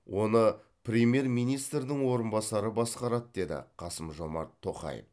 оны премьер министрдің орынбасары басқарады деді қасым жомарт тоқаев